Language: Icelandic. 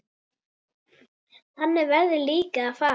Þannig verður líka að fara.